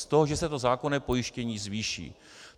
Z toho, že se to zákonné pojištění zvýší.